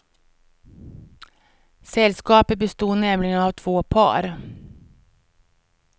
Sällskapet bestod nämligen av två par.